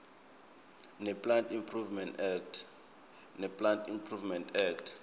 neplant improvement act